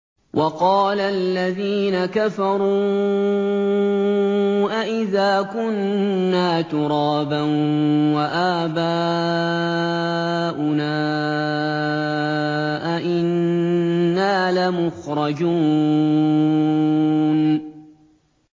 وَقَالَ الَّذِينَ كَفَرُوا أَإِذَا كُنَّا تُرَابًا وَآبَاؤُنَا أَئِنَّا لَمُخْرَجُونَ